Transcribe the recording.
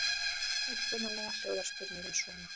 Upprunalega hljóðar spurningin svona: